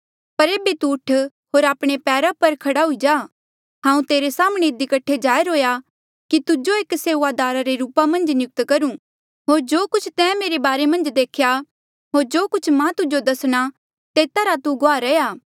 पर एेबे तू उठ होर आपणे पैरा पर खड़ा हुई जा हांऊँ तेरे साम्हणें इधी कठे जाहिर हुएया कि तुजो एक सेऊआदारा रे रूपा मन्झ नियुक्त करूं होर जो कुछ तैं मेरे बारे मन्झ देख्या होर जो कुछ मां तुजो दसणा तेता रा तू गुआह रैहया